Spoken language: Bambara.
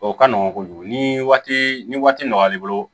O ka nɔgɔn kojugu ni waati ni waati nɔgɔya b'i bolo